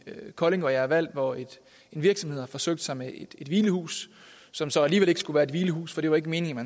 kolding hvor jeg er valgt hvor virksomheder har forsøgt sig med et hvilehus som så alligevel ikke skulle være et hvilehus for det var ikke meningen at